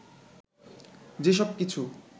যে সব কিছু